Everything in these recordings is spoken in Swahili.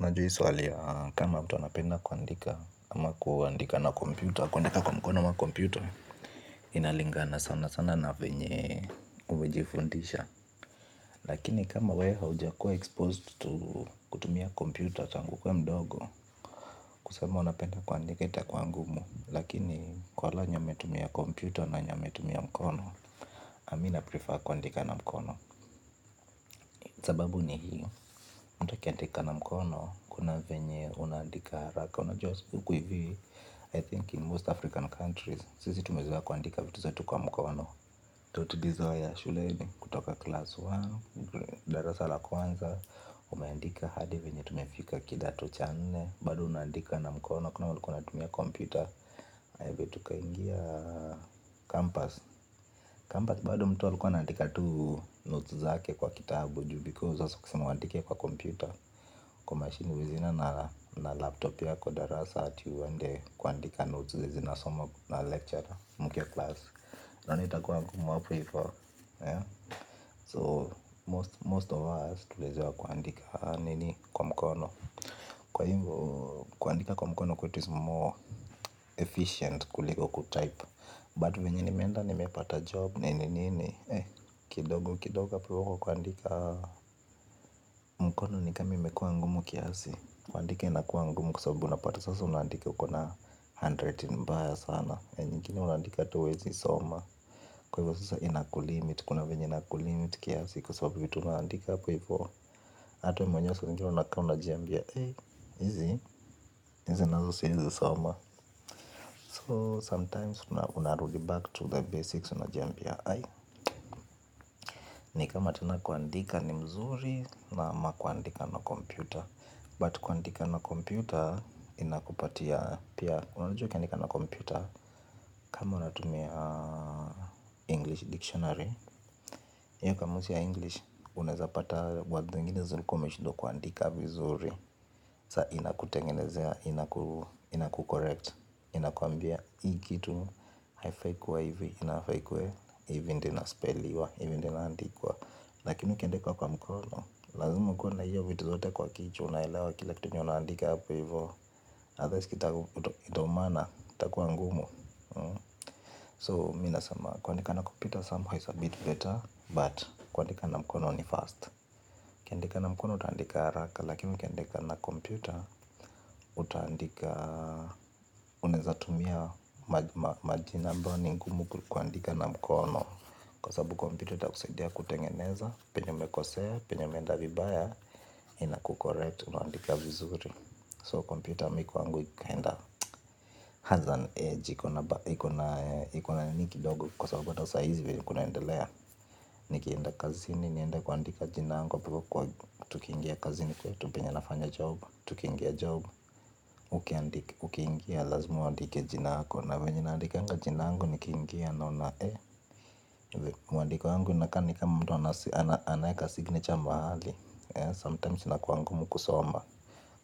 Unajua hii swali ya kama mtu anapenda kuandika ama kuandika na kompyuta kuandika kwa mkono ama kompyuta inalingana sana sana na vyenye umejifundisha. Lakini kama we haujakuwa exposed to kutumia kompyuta tangu ukuwe mdogo, kusema unapenda kuandika itakuwa ngumu. Lakini kwa wale wenye wametumia kompyuta na wenye wametumia mkono, mi na prefer kuandika na mkono. Sababu ni hii, mtu akiandika na mkono, kuna venye unaandika haraka, unajua huku hivi I think in most African countries, sisi tumezoea kuandika vitu zetu kwa mkono ndo tulizoea shuleni kutoka class moja, darasa la kwanza, umeandika hadi venye tumefika kidato cha nne. Bado unaandika na mkono, kunao walikuwa wanatumia computer, aya vile tukaingia campus campus bado mtu alikuwa anaandika tu notes zake kwa kitabu juu because sasa ukisema uandike kwa computer. Kwa machine huwezi enda na laptop ya kwa darasa. Ati uende kuandika notes zenye zinasomwa na lecture mkiwa class. Nani atakuwa ngumu hapo hivo. So most of us tulizoea kuandika nini kwa mkono. Kuandika kwa mkono kwetu is more efficient kuliko kutype. But venye nimeenda nimepata job nini nini kidogo kidogo hapo hivo kwa kuandika mkono ni kama imekuwa ngumu kiasi. Kuandika inakuwa ngumu kwa sababu unapata sasa unaandika ukona handwriting mbaya sana nyingine unaandika hata huwezi soma. Kwa hivyo sasa inakulimit kuna vyenye inakulimit kiasi. Kwa sababu vitu unaandika hapo hivo hata wewe mwenyewe saa zingine unakaa unajambia eh. Hizi, hizi nazo siezi soma. So sometimes unarudi back to the basics unajambia Ai. Ni kama tena kuandika ni mzuri. Naam na kuandika na computer. But kuandika na computer, inakupatia pia unajua ukiandika na computer. Kama unatumia English Dictionary hiyo kamusi ya English, unaeza pata words zingine zile ulikuwa umeshindwa kuandika vizuri. Saa inakutengenezea, inaku correct inakuambia hii kitu, haifai kuwa hivi, inafaa ikuwe. Hivi ndio inaspell-iwa, hivi ndio inaandikwa. Lakini ukiandika kwa mkono. Lazima ukuwe na hiyo vitu zote kwa kichwa. Unaelewa kila kitu yenye unaandika hapo hivyo otherwise kita itaumana. Itakuwa ngumu. So mi nasema kuandika na computer. Somehow is a bit better. But kuandika na mkono ni fast ukiandika na mkono utaandika haraka. Lakini ukiandika na computer Utaandika. Unaeza tumia majina ambayo ni ngumu kuandika na mkono. Kwa sababu kwa sababu kompyuta itakusaidia kutengeneza penye umekosea. Penye umeenda vibaya ina ku correct unaandika vizuri so kompyuta mi kwangu kinda has an edge ikona ikona nini kidogo kwa sababu hata sahizi vyenye kunaendelea nikienda kazini, niende kuandika jina yangu, hapo hivo kwa tukiingia kazini, kwetu penye nafanya job tukingia job, ukiingia lazima uandike jina yako na vyenye naandikanga jina yangu, nikiingia naona eh, mwandiko yangu inakaa ni kama mtu anaeka signature mahali, sometimes inakuwa ngumu kusoma.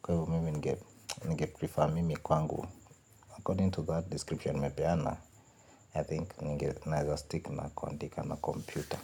Kwa hivyo mimi ninge ningeprefer mimi kwangu According to that description nimepeana I think ninge naeza stick na kuandika na kompyuta.